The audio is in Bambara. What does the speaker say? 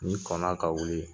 Ni kɔn na ka wili